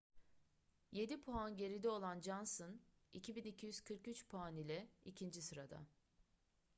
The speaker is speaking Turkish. yedi puan geride olan johnson 2.243 puan ile ikinci sırada